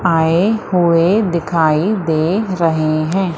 आय हुए दिखाई दे रहे हैं।